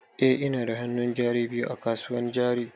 Eh ina da hannun jari biyu a kasuwan jari.